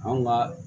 Anw ka